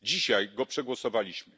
Dzisiaj go przegłosowaliśmy.